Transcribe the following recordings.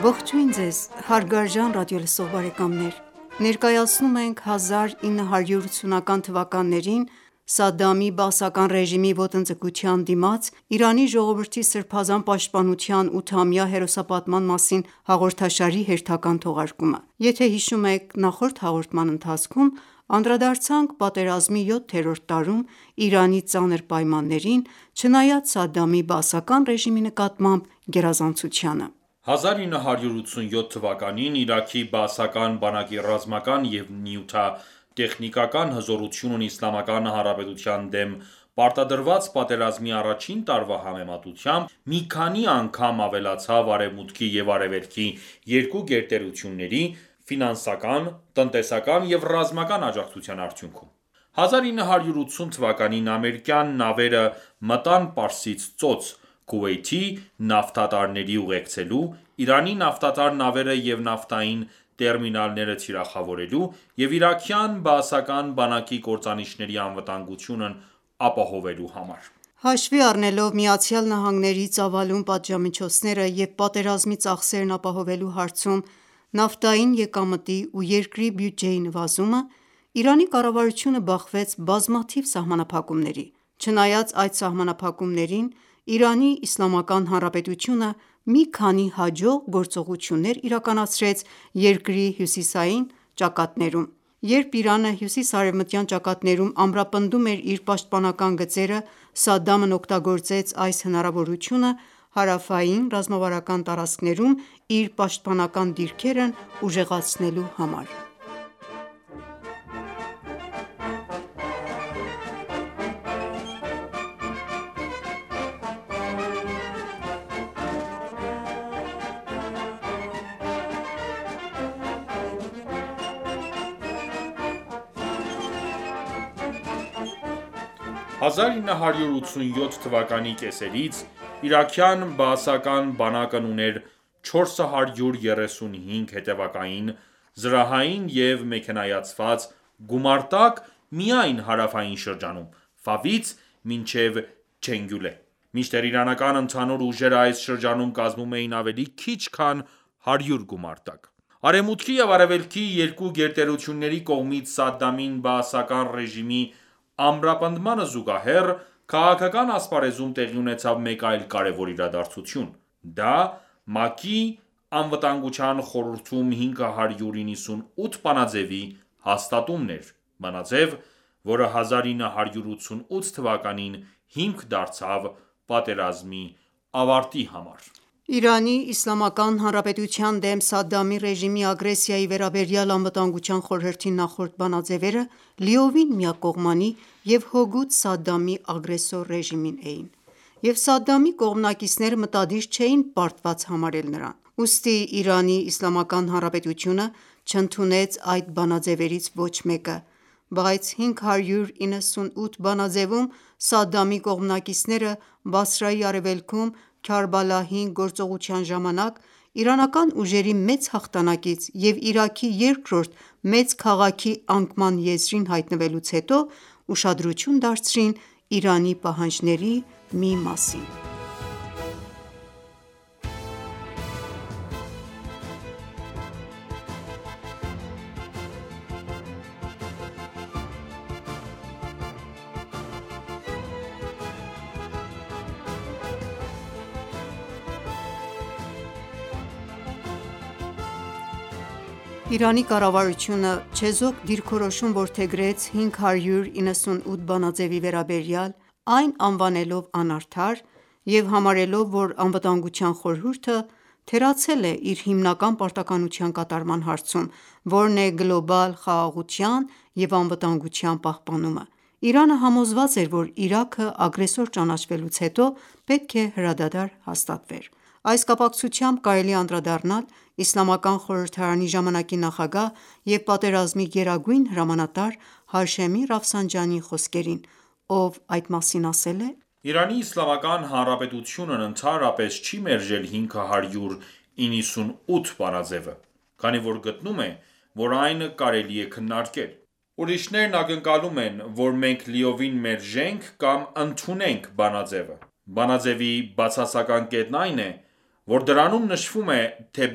Ողջույն, հարգարժան ռադիոլսող բարեկամներ: Ներկայացնում ենք 1980-ական թվականներին Սադդամի բաասական ռեժիմի ոտնձգության դիմաց Իրանի ժողովրդի սրբազան պաշտպանության 8-ամյա հերոսապատման մասին հաղորդաշարի հերթական թողարկումը: Նախորդ հաղորդման ընթացքում անդրադարձանք պատերազմի յոթերորդ տարում Իրանի ծանր պայմաններին՝ չնայած Սադդամի բաասական ռեժիմի նկատմամբ գերազանցությանը։ 1987 թվականին Իրաքի բաասական բանակի ռազմական և նյութատեխնիկական հզորությունն Իսլամական Հանրապետության դեմ պարտադրված պատերազմի առաջին տարվա համեմատությամբ մի քանի անգամ ավելացավ Արևմուտքի և Արևելքի երկու գերտերությունների ֆինանսական, տնտեսական և ռազմական աջակցության արդյունքում։ 1980 թվականին ամերիկյան նավերը մտան Պարսից ծոց՝ Քուվեյթի նավթատարներին ուղեկցելու, Իրանի նավթատար նավերը և նավթային տերմինալները թիրախավորելու և իրաքյան բաասական բանակի կործանիչների անվտանգությունն ապահովելու համար: Հաշվի առնելով ԱՄՆ-ի ծավալուն պատժամիջոցները և պատերազմի ծախսերն ապահովելու հարցում նավթային եկամտի ու երկրի բյուջեի նվազումը, Իրանի կառավարությունը բախվեց բազմաթիվ սահմանափակումների: Չնայած այդ սահմանափակումներին՝ Իրանի Իսլամական Հանրապետությունը մի քանի հաջող գործողություններ իրականացրեց երկրի հյուսիսարևմտյան ճակատներում։ Երբ Իրանը հյուսիսարևմտյան ճակատներում ամրապնդում էր իր պաշտպանական գծերը, Սադդամն օգտագործեց այս հնարավորությունը՝ հարավային ռազմավարական տարածքներում իր պաշտպանական դիրքերն ուժեղացնելու համար։ 1987 թվականի կեսերից իրաքյան բաասական բանակն ուներ 435 հետևակային, զրահային և մեքենայացված գումարտակ միայն հարավային շրջանում՝ Ֆավից մինչև Չենգուլե, մինչդեռ իրանական ընդհանուր ուժերը այս շրջանում կազմում էին ավելի քիչ քան 100 գումարտակ: Արևմուտքի և Արևելքի երկու գերտերությունների կողմից Սադդամի բաասական ռեժիմի ամրապնդմանը զուգահեռ քաղաքական ասպարեզում տեղի ունեցավ մեկ այլ կարևոր իրադարձություն: Դա ՄԱԿ-ի Անվտանգության խորհրդում 598 բանաձեւի հաստատումն էր։ Բանաձև, որը 1988թ. հիմք դարձավ պատերազմի ավարտի համար: Իրանի Իսլամական Հանրապետության դեմ Սադդամի ռեժիմի ագրեսիայի վերաբերյալ Անվտանգության խորհրդի նախորդ բանաձևերը լիովին միակողմանի և հօգուտ Սադդամի ագրեսոր ռեժիմի էին, և Սադդամի կողմնակիցները մտադիր չէին պարտված համարել նրան: Ուստի Իրանի Իսլամական Հանրապետությունը չընդունեց այդ բանաձևերից ոչ մեկը։ Բայց 598 բանաձեւում Սադդամի կողմնակիցները Բասրայի արևելքում «Քարբալա 5» գործողության ժամանակ իրանական ուժերի մեծ հաղթանակից և Իրաքի երկրորդ մեծ քաղաքի անկման եզրին հայտնվելուց հետո, ուշադրություն դարձրին Իրանի պահանջների մի մասին: Այնուամենայնիվ, Իրանի կառավարությունը չեզոք դիրքորոշում որդեգրեց 598 բանաձևի վերաբերյալ, այն անվանելով անարդար և համարելով, որ Անվտանգության խորհուրդը թերացել է իր հիմնական պարտականության կատարման հարցում, որն է՝ գլոբալ խաղաղության և անվտանգության պահպանումը: Իրանը համոզված էր, որ Իրաքը ագրեսոր ճանաչվելուց հետո պետք է հրադադար հաստատվեր։ Այս կապակցությամբ կարելի է անդրադառնալ Իսլամական խորհրդարանի ժամանակի նախագահ և պատերազմի գերագույն հրամանատար Հաշեմի Ռաֆսանջանիի խոսքերին, ով այդ մասին ասել է.«Իրանի Իսլամական Հանրապետությունն ընդհանրապես չի մերժել 598 բանաձեւը, քանի որ գտնում է, որ այն կարելի է քննարկել։ Ուրիշներն ակնկալում են, որ մենք լիովին մերժենք կամ ընդունենք բանաձևը:Բանաձևի բացասական կետն այն, որ դրանում նշվում է,թե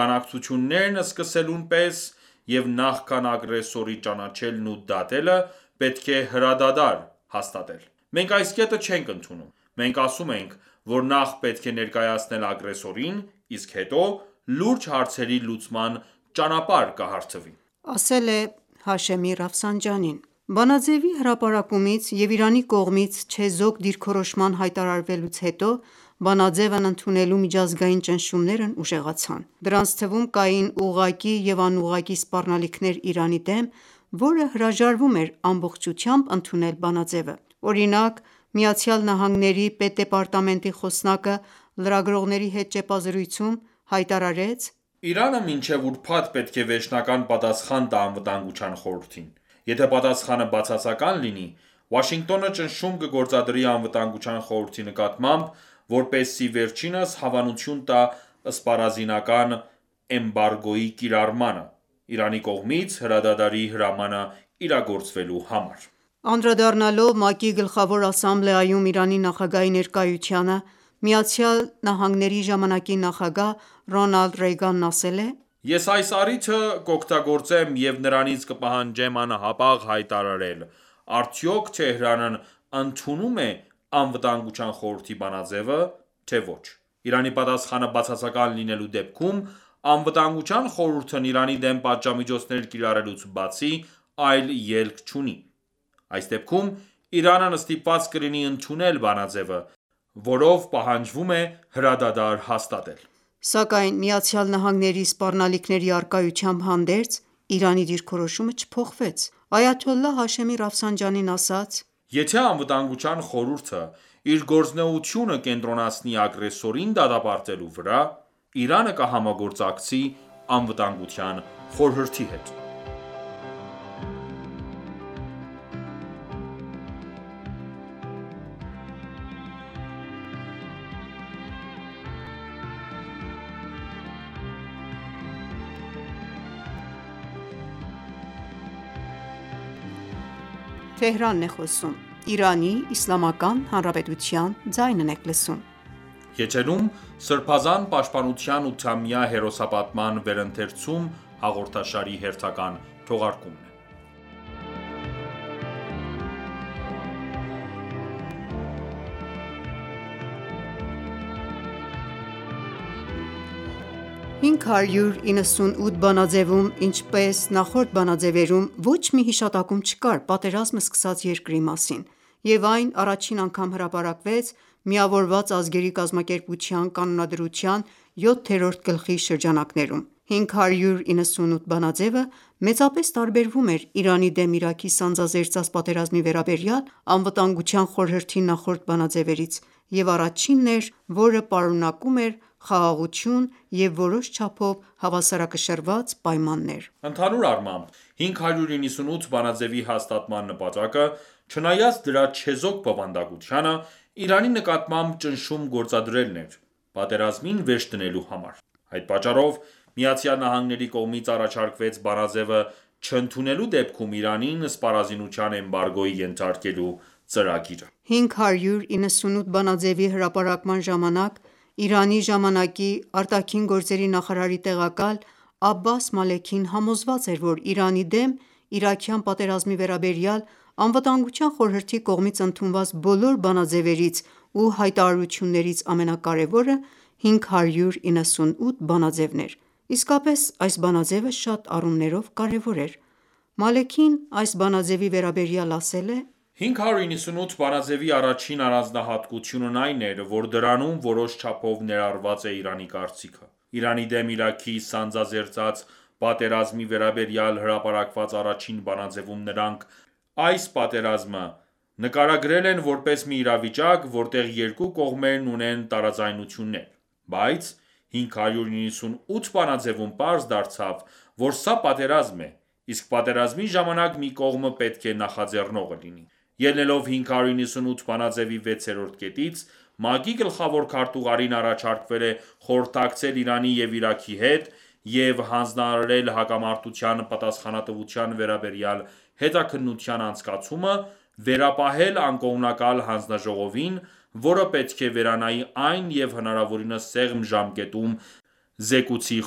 բանակցություններն սկսելուն պես և նախքան ագրեսորի ճանաչելն ու դատելը պետք է հրադադար հաստատել: Մենք այս կետը չենք ընդունում... Մենք ասում ենք, որ նախ պետք է ներկայացնել ագրեսորին, իսկ հետո՝ լուրջ հարցերի լուծման ճանապարհ կհարթվի...»։ Բանաձևի հրապարակումից և Իրանի կողմից չեզոք դիրքորոշման հայտարարվելու հետո, բանաձևն ընդունելու միջազգային ճնշումներն ուժեղացան: Դրանց թվում կային ուղղակի և անուղղակի սպառնալիքներ Իրանի դեմ, որը հրաժարվում էր ամբողջությամբ ընդունել բանաձեւը։ Օրինակ՝ ԱՄՆ պետդեպարտամենտի խոսնակը լրագրողների հետ ճեպազրույցում հայտարարեց, որ «Իրանը մինչև ուրբաթ պետք է վերջնական պատասխան տա Անվտանգության խորհրդին... Եթե պատասխանը բացասական լինի, Վաշինգտոնը ճնշում կգործադրի Անվտանգության խորհրդի նկատմամբ, որպեսզի վերջինս հավանություն տա սպառազինական էմբարգոյի կիրառմանը, Իրանի կողմից հրադադարի հրամանը իրագործվելու համար»: Անդրադառնալով ՄԱԿ-ի Գլխավոր ասամբլեայում Իրանի նախագահի ներկայությանը, Միացյալ Նահանգների ժամանակի նախագահ Ռոնալդ Ռեյգանն ասել է.«Ես այս առիթը կօգտագործեմ և նրանից կպահանջեմ անհապաղ հայտարարել՝ արդյոք Թեհրանն ընդունո՞ւմ է ԱԽ բանաձևը, թե՝ ոչ: Իրանի պատասխանը բացասական լինելու դեպքում, Անվտանգության խորհուրդն Իրանի դեմ պատժամիջոցներ կիրառելուց բացի այլ ելք չունի: Այս դեպքում Իրանն ստիպված կլինի ընդունել բանաձևը, որով պահանջվում է պատերազմում հրադադար հաստատել»: Սակայն ԱՄՆ-ի սպառնալիքների առկայությամբ հանդերձ, Իրանի դիրքորոշումը չփոխվեց: Այաթոլլահ Հաշեմի Ռաֆսանջանին ասաց.«Եթե ԱԽ-ը իր գործունեությունը կենտրոնացնի ագրեսորին դատապարտելու վրամ, Իրանը կհամագործակցի ԱԽ-ի հետ»: 598 բանաձեւում, ինչպես նախորդ բանաձեւերում, ոչ մի հիշատակում չկար պատերազմը սկսած երկրի մասին, և այն առաջին անգամ հրապարակվեց Միավորված ազգերի կազմակերպության կանոնադրության յոթերորդ գլխի շրջանակներում։ 598 բանաձևը մեծապես տարբերվում էր Իրանի դեմ Իրաքի սանձազերծած պատերազմի վերաբերյալ Անվտանգության խորհրդի նախորդ բանաձևերից և առաջինն էր, որը պարունակում էր խաղաղություն և որոշ չափով հավասարակշռված պայմաններ: Ընդհանուր առմամբ, 598 բանաձևի հաստատման նպատակը, չնայած դրա չեզոք բովանդակությանը Իրանի նկատմամբ ճնշում գործադրելն էր՝ պատերազմին վերջ դնելու համար: Այդ պատճառով, ԱՄՆ-ի կողմից առաջարկվեց բանաձևը չընդունելու դեպքում Իրանին սպառազինության էմբարգոյի ենթարկելու ծրագիրը։ 598 բանաձևի հրապարակման ժամանակ, Իրանի ժամանակի ԱԳ նախարարի տեղակալ Աբբաս Մալեքին համոզված էր, որ Իրանի դեմ իրաքյան պատերազմի վերաբերյալ Անվտանգության խորհրդի կողմից ընդունված բոլոր բանաձևերից ու հայտարարություններից ամենակարևորը 598 բանաձևն է։ Իսկապես այս բանաձևը շատ առումներով կարևոր էր: Մալեքին այս բանաձեւի վերաբերյալ ասել է.«598 բանաձեւի առաջին առանձնահատկությունն այն էր, որ դրանում որոշ չափով ներառված է Իրանի կարծիքը։ Իրանի դեմ Իրաքի սանձազերծած պատերազմի վերաբերյալ հրապարակված առաջին բանաձևում նրանք այս պատերազմը նկարագրել են որպես մի իրավիճակ, որտեղ երկու կողմերն ունեն տարաձայնություններ։ Բայց 598 բանաձևում պարզ դարձավ, որ սա պատերազմ է, իսկ պատերազմի ժամանակ մի կողմը պետք է նախաձեռնողը լինի: Ելնելով 598 բանաձևի 6-րդ կետից՝ ՄԱԿ-ի գլխավոր քարտուղարին առաջարկվել է խորհրդակցել Իրանի և Իրաքի հետ և հանձնարարել հակամարտության պատասխանատվության վերաբերյալ հետաքննության անցկացումը վերապահել անկողմնակալ հանձնաժողովին, որը պետք է վերանայի այն և հնարավորինս սեղմ ժամկետում զեկուցի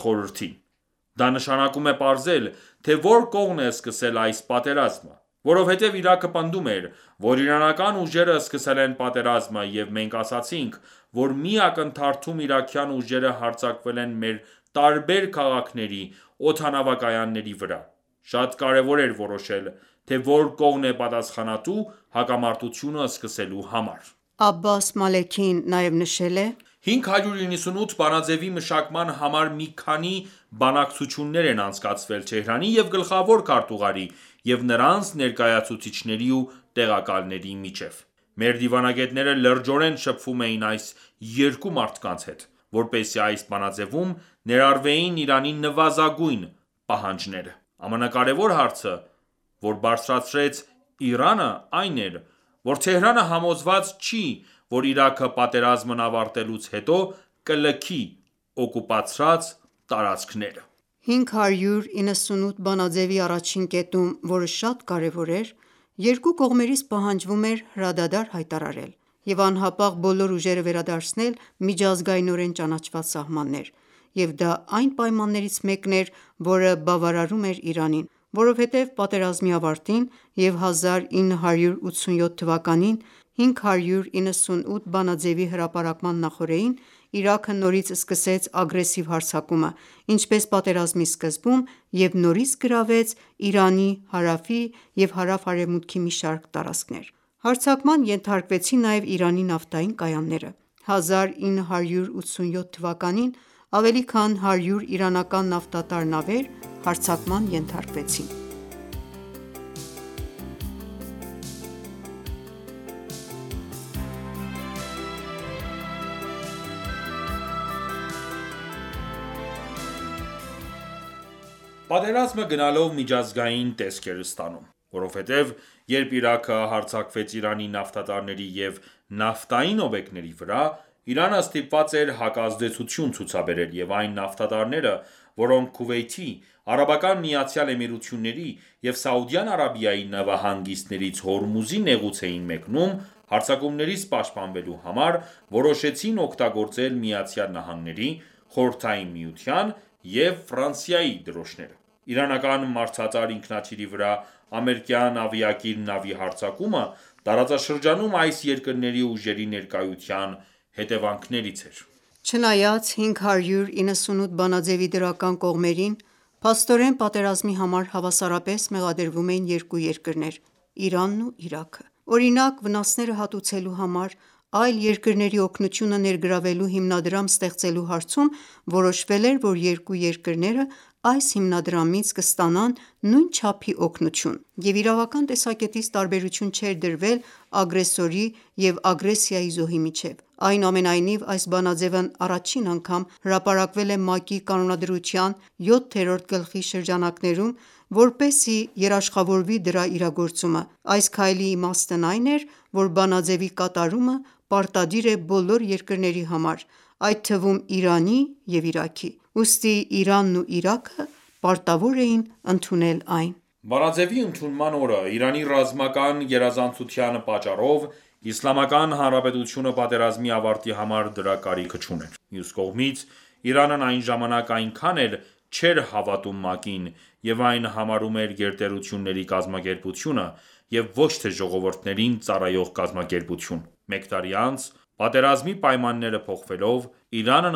Խորհրդին: Դա նշանակում է պարզել, թե որ կողմն է սկսել այս պատերազմը: Որովհետև Իրաքը պնդում էր, որ իրանական ուժերը սկսել են պատերազմը, և մենք ասացինք, որ մի ակնթարթում իրաքյան ուժերը հարձակվել են մեր տարբեր քաղաքների օդանավակայանների վրա։ Շատ կարեւոր էր որոշել, թե որ կողմն է պատասխանատու հակամարտությունը սկսելու համար»։ Աբբաս Մալեքին նաև նշել է. «598 բանաձևի մշակման համար մի քանի բանակցություններ են անցկացվել Թեհրանի և գլխավոր քարտուղարի և նրանց ներկայացուցիչների ու տեղակալների միջև։ Մեր դիվանագետները լրջորեն շփվում էին այս երկու մարդկանց հետ, որպեսզի այս բանաձևում ներառվեին Իրանի նվազագույն պահանջները։ Ամենակարևոր հարցը, որ բարձրացրեց Իրանը, այն էր, որ Թեհրանը համոզված չի որ Իրաքը պատերազմն ավարտվելուց հետո կլքի օկուպացրած տարածքները: 598 բանաձևի 1-ին կետում, որը շատ կարևոր էր, երկու կողմերից պահանջվում էր հրադադար հայտարարել և անհապաղ բոլոր ուժերը վերադարձնել միջազգայնորեն ճանաչված սահմաններ, եւ դա այն պայմաններից մեկն էր, որը բավարարում էր Իրանին։ Որովհետև պատերազմի ավարտին և 1987-ին 598-րդ բանաձևի հրապարակման նախօրեին, Իրաքը նորից սկսեց ագրեսիվ հարձակումը, ինչպես պատերազմի սկզբում, և նորից գրավեց Իրանի հարավի և հարավ-արևմուտքի մի շարք տարածքներ: Հարձակման ենթարկվեցին նաև Իրանի նավթային կայանները: 1987-ին ավելի քան 100 իրանական նավթատար նավեր հարձակման ենթարկվեցին։ Պատերազմը գնալով միջազգային տեսք էր ստանում։ Որովհետև երբ Իրաքը հարձակվեց Իրանի նավթատարների և նավթային օբյեկտների վրա, Իրանը ստիպված էր հակազդեցություն ցուցաբերել, և այն նավթատարները, որոնք Քուվեյթի, Արաբական Միացյալ Էմիրությունների և Սաուդյան Արաբիայի նավահանգիստներից Հորմուզի նեղուց էին մեկնում, հարձակումներից պաշտպանվելու համար որոշեցին օգտագործել ԱՄՆ-ի, Խորհրդային միության և Ֆրանսիայի դրոշները։ Իրանական մարդատար ինքնաթիռի վրա ամերիկյան ավիակիր նավի հարձակումը տարածաշրջանում այս երկրների ուժերի ներկայության հետեւանքներից էր։ Չնայած 598 բանաձևի դրական կողմերին, փաստորեն պատերազմի համար հավասարապես մեղադրվում էին երկու երկրներ՝ Իրանն ու Իրաքը: Օրինակ՝ վնասները հատուցելու համար այլ երկրների օգնությունը ներգրավելու հիմնադրամ ստեղծելու հարցում որոշվել էր, որ երկու երկրներ այս հիմնադրամից կստանան նույն չափի օգնություն, և իրավական տեսակետից տարբերություն չէր դրվել ագրեսորի և ագրեսիայի զոհի միջև։ Այնուամենայնիվ, այս բանաձևն առաջին անգամ հրապարակվել է ՄԱԿ-ի կանոնադրության 7-րդ գլխի շրջանակներում՝ որպեսզի երաշխավորվի դրա իրագործումը։ Այս քայլի իմաստն այն էր, որ բանաձևի կատարումը պարտադիր է բոլոր երկրների համար, այդ թվում՝ Իրանի և Իրաքի։ Ուստի Իրանն ու Իրաքը պարտավոր էին ընդունել այն։ Բանաձևի ընդունման օրը, Իրանի ռազմական գերազանցության պատճառով, Իսլամական Հանրապետությունը պատերազմի ավարտի համար դրա կարիքը չուներ։ Մյուս կողմից, Իրանն այն ժամանակ այնքան էլ չէր հավատում ՄԱԿ-ին և այն համարում էր գերտերությունների կազմակերպությունը և ոչ թե ժողովուրդներին ծառայող կազմակերպություն։ Մեկ տարի անց պատերազմի պայմանները փոխվելով, Իրանն